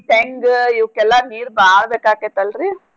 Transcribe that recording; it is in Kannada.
ತೆಂಗ್ ಇವ್ಕೆಲ್ಲ ನೀರ್ ಬಾಳ್ ಬೇಕಾಕೇತ್ ಅಲ್ರೀ.